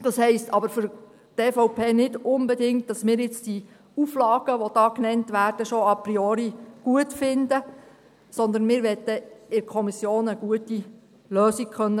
Das heisst aber für die EVP nicht unbedingt, dass wir jetzt diese Auflagen, die hier genannt werden, schon a priori gut finden, sondern wir wollen in der Kommission eine gute Lösung finden können.